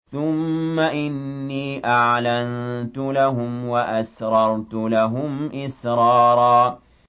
ثُمَّ إِنِّي أَعْلَنتُ لَهُمْ وَأَسْرَرْتُ لَهُمْ إِسْرَارًا